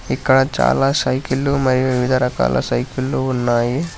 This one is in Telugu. ఇక్కడ చాలా సైకిళ్ళు మరియు వివిధ రకాల సైకిల్ లో ఉన్నాయి.